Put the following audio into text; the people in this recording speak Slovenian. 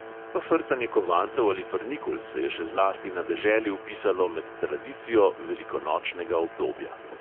Pa frcanje kovancev ali frnikul se je še zlasti na deželi vpisalo med tradicijo velikonočnega obdobja.